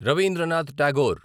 Rabindranath Tagore